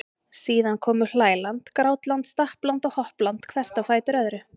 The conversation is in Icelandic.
Síðan komu hlæland, grátland, stappland og hoppland hvert á fætur öðru.